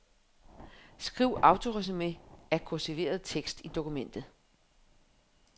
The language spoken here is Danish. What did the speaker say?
Skriv autoresumé af kursiveret tekst i dokumentet.